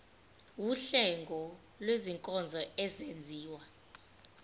wuhlengo lwezinkonzo ezenziwa